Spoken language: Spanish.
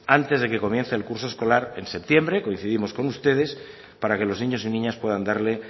antes de que comience el curso escolar en septiembre coincidimos con ustedes para que los niños y niñas puedan darle